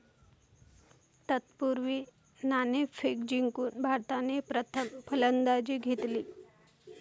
तत्पूर्वी, नाणेफेक जिंकून भारताने प्रथम फलंदाजी घेतली.